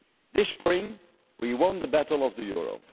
momentum. This spring, we won the battle of